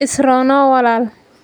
Is roonow walaal